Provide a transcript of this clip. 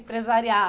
Empresariar.